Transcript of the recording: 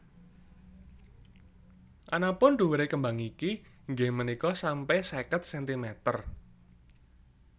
Anapun dhuwure kembang niki inggih punika sampe seket sentimeter